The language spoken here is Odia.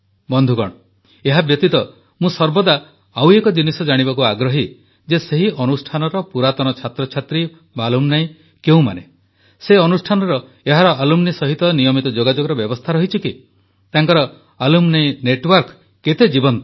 ବନ୍ଧୁଗଣ ଏହାବ୍ୟତୀତ ମୁଁ ସର୍ବଦା ଆଉ ଏକ ଜିନିଷ ଜାଣିବାକୁ ଆଗ୍ରହୀ ଯେ ସେହି ଅନୁଷ୍ଠାନର ପୁରାତନ ଛାତ୍ରଛାତ୍ରୀ ଆଲୁମିନି କେଉଁମାନେ ସେହି ଅନୁଷ୍ଠାନର ଏହାର ଆଲୁମିନି ସହିତ ନିୟମିତ ଯୋଗାଯୋଗର ବ୍ୟବସ୍ଥା ରହିଛି କି ତାଙ୍କର ଆଲୁମିନି ନେଟୱାର୍କ କେତେ ଜୀବନ୍ତ